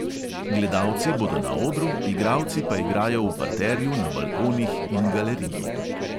Gledalci bodo na odru, igralci pa igrajo v parterju, na balkonih in galeriji.